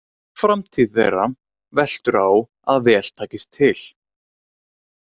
Framtíð þeirra veltur á að vel takist til.